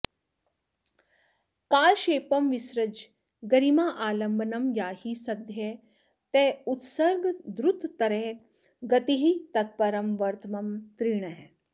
कालक्षेपं विसृज गरिमालम्बनं याहि सद्यः तोयोत्सर्गद्रुततरगतिस्तत्परं वर्त्म तीर्णः